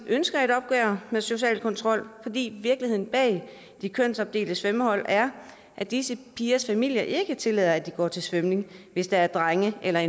ønsker et opgør med social kontrol fordi virkeligheden bag de kønsopdelte svømmehold er at disse pigers familier ikke tillader at de går til svømning hvis der er drenge eller